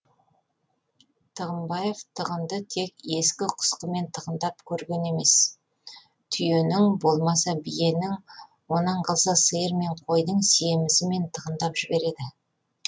тығынбаев тығынды тек ескі құсқымен тығындап көрген емес түйенің болмаса биенің онан қалса сиыр мен қойдың семізімен тығындап жібереді